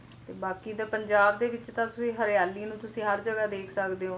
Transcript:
ਤੇ ਬਾਕੀ ਦਾ ਪੰਜਾਬ ਦੇ ਵਿੱਚ ਤਾਂ ਤੁਸੀ ਹਰਿਆਲੀ ਨੂੰ ਹਰ ਜਗ੍ਹਾ ਦੇਖ ਸਕਦੇ ਹੋ